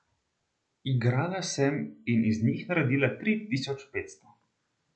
Igrala sem in iz njih naredila tri tisoč petsto.